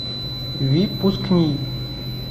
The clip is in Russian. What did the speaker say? випускний